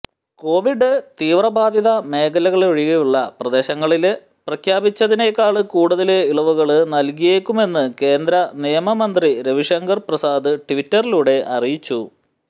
Covid തീവ്രബാധിത മേഖലകളൊഴിയുള്ള പ്രദേശങ്ങളില് പ്രഖ്യാപിച്ചതിനേക്കാള് കൂടുതല് ഇളവുകള് നല്കിയേക്കുമെന്ന് കേന്ദ്ര നിയമമന്ത്രി രവിശങ്കര് പ്രസാദ് ട്വിറ്ററിലൂടെ അറിയിച്ചു